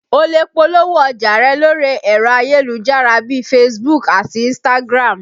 O lè polówó ọjà rẹ lórí ẹ̀rọ ayélujára bíi Facebook àti Instagram